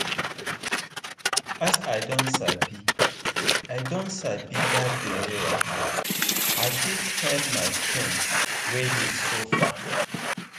as i don sabi i don sabi that belle wahala i fit help my friend wey dey suffer.